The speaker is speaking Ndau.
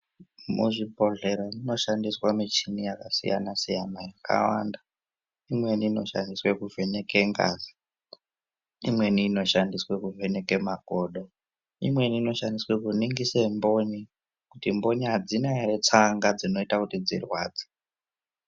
Muzvibhedhlera munoshandiswa muchini yaka siyana siyana yakawanda. Imweni inoshandiswe kuvheneke ngazi, imweni inoshandiswe kuvheneke makodo, imweni inoshandiswe kuningise mboni kuti mboni adzina ere tsanga dzinoita kuti dzirwadze.